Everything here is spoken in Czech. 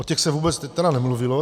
O těch se vůbec nemluvilo.